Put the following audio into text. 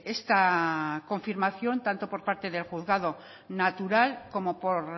esta confirmación tanto por parte del juzgado natural como por